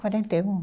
Quarenta e um